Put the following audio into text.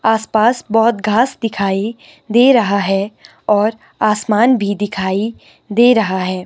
आस-पास बहुत घास दिखाई दे रहा है और आसमान भी दिखाई दे रहा है।